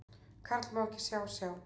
Karl má ekki sjá, sjá.